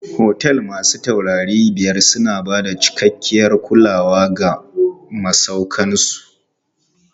Otel masu taurari biyar na bada cikakkiyar kulawa ga masauƙan su.